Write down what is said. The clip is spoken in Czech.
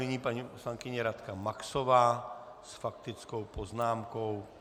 Nyní paní poslankyně Radka Maxová s faktickou poznámkou.